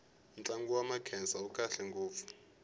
ntlangu wa makhensa wu kahle ngopfu